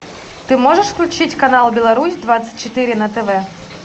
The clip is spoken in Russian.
ты можешь включить канал беларусь двадцать четыре на тв